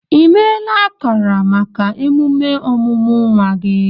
I meela akara maka emume ọmụmụ nwa gị?